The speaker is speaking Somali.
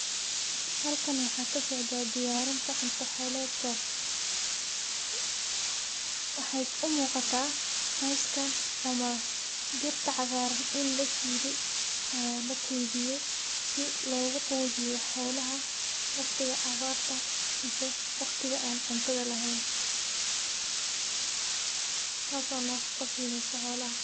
Halkan waxa kasocda diyaarinta cunta xoledka, waxay umuuqataa coskan ama dhirta cagaaran ini la shiide oo la keydiye si logu qudiyo xolaha waqtiga abarta mise waqtiga an cuntada leheyn, taaso nafaqa sineyso xolaha